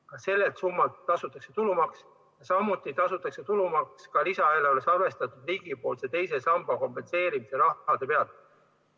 Ka sellelt summalt tasutakse tulumaks, samuti tasutakse tulumaks lisaeelarves arvestatud riigipoolse teise samba kompenseerimise rahasummade pealt.